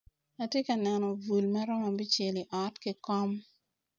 Atye ka neno bul maromo abicel i ot ki kom